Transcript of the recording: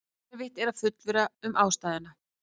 erfitt er að fullyrða um ástæðuna